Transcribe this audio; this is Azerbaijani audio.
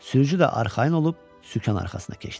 Sürücü də arxayın olub sükan arxasına keçdi.